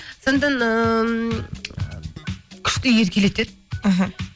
сондықтан ыыы күшті еркелетеді іхі